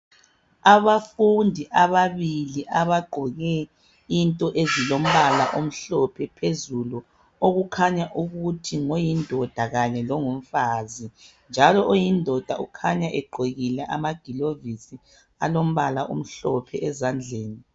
Abafundi ababili abagqoke into ezilombala omhlophe phezulu okukhanya ukuthi ngoyindoda kanye longumfazi njalo oyindoda ukhanya egqokile amagilovisi alombala omhlophe ezandleni.